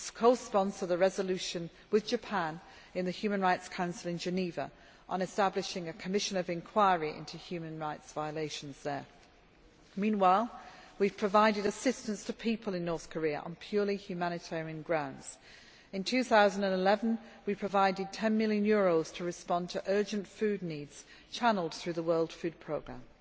We will co sponsor the resolution with Japan in the Human Rights Council in Geneva on establishing a Commission of Enquiry into human rights violations there. Meanwhile, we have provided assistance to people in the DPRK on purely humanitarian grounds. In 2011, we provided EUR 10 million to respond to urgent food needs channelled through the World Food Programme.